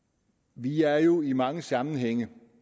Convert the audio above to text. vi er jo i mange sammenhænge